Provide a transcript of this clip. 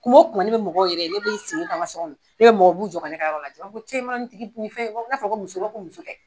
Kuma o kuma ne bɛ mɔgɔw yɛrɛ ne bi n sigini to an ka so kɔnɔ ne bɛ mɔgɔw ye u b'u jɔ ka ne ka yɔrɔ lajɛ u b'a fɔ cɛ i man dɔ nin tigi nin fɛn n'a fɔra ko muso u b'a fɔ muso